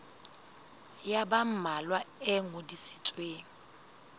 ya ba mmalwa e ngodisitsweng